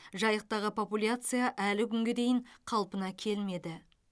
жайықтағы популяция әлі күнге дейін қалпына келмеді